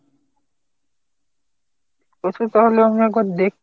আচ্ছা তাহলে আমি একবার দেখি।